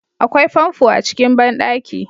Akwai famfo a cikin banɗaki